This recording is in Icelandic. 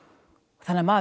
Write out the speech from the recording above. þannig að maður